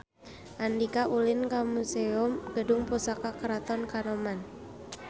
Andika ulin ka Museum Gedung Pusaka Keraton Kanoman